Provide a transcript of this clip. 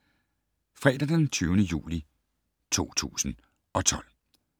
Fredag d. 20. juli 2012